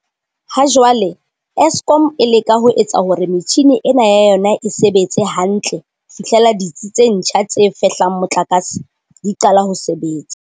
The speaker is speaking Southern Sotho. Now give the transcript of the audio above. Ha jwale, Eskom e leka ho etsa hore metjhini ena ya yona e sebetse hantle ho fihlela ditsi tse ntjha tse fehlang motlakase di qala ho sebetsa.